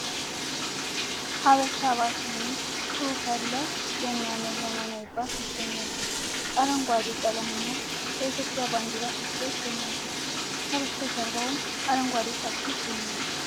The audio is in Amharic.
ሃበሻ ባስ የሚል ጽሑፍ ያለው የሚያምር ዘመናዊ ባስ ይገኛል ። አረንጓዴ ቀለምና የኢትዮጵያ ባንዲራ ተስለው ይገኛሉ ። ከጀርባውም አረንጓዴ ጫካ ይገኛል ።